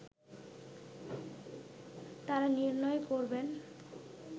তারা নির্ণয় করবেন